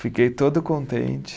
Fiquei todo contente.